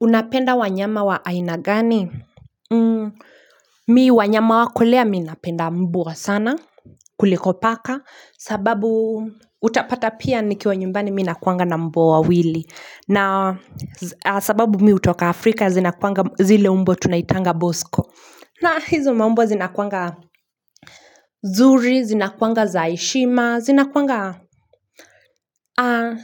Unapenda wanyama wa ainagani mii wanyama wakulea mi napenda mbwa sana kuliko paka sababu utapata pia nikiwa nyumbani minakuanga na mbwa wawili na sababu mii utoka afrika zinakuanga zile umbwa tunaitanga bosko na hizo maumbwa zinakuanga zuri zinakuanga zaheshima zinakuanga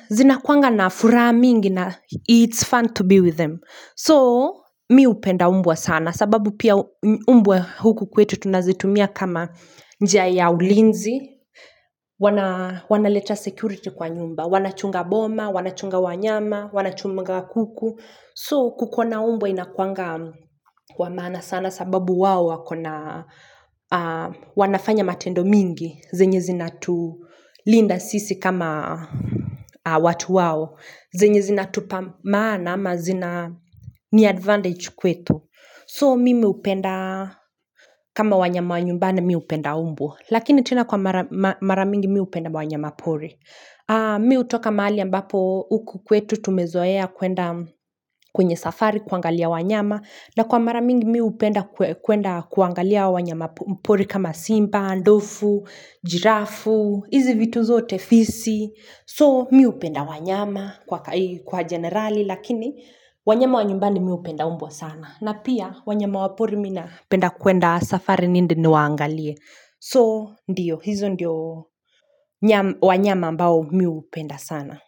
zina kwanga na furaha mingi na it's fun to be with them So mi upenda mbwa sana sababu pia mbwa huku kwetu tunazitumia kama njia ya ulinzi wana leta security kwa nyumba wana chunga boma, wana chunga wanyama, wana chunga kuku So kukona umbwa inakwanga wamaana sana sababu wao wanafanya matendo mingi zenye zinatu linda sisi kama watu wao zenye zinatu maana ama zina ni advantage kwetu So mimi upenda kama wanyama nyumbani mi upenda umbwa Lakini tena kwa maramingi mi upenda wanyama pori Mi utoka maali ambapo uku kwetu tumezoea kwenda kwenye safari kuangalia wanyama na kwa maramingi mi upenda kuangalia wanyama pori kama simba, ndofu, giraffe hizi vitu zote fisi so miupenda wanyama kwa generali lakini wanyama wa nyumbani miupenda umbwa sana na pia wanyama wa pori mina penda kuenda safari niende ni waangalie so ndiyo hizo ndio wanyama ambao miupenda sana.